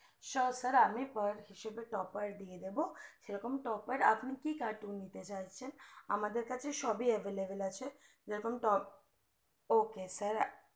sure sir আমি birth হিসাবে toper দিয়ে যাবো সেরকম toper আপনি কি cartoons নিতে চাইছেন আমাদের কাছে সবই available আছে যেরকম top ok sir